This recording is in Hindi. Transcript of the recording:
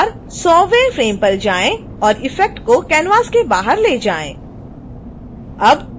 इस बार 100